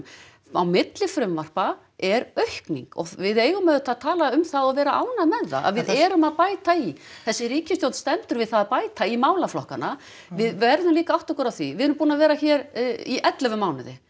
á milli frumvarpa er aukning og við eigum auðvitað að tala um það og vera ánægð með það að við erum að bæta í þessi ríkisstjórn stendur við það að bæta í málaflokkana við verðum líka að átta okkur á því við erum búin að vera hér í ellefu mánuði